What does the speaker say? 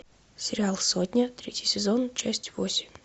сериал сотня третий сезон часть восемь